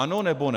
Ano, nebo ne?